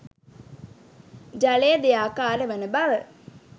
ජලය දෙආකාර වන බව